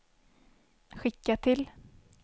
skicka till